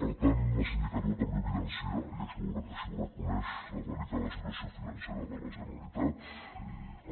per tant la sindicatura també evidencia i així ho reconeix la delicada situació financera de la generalitat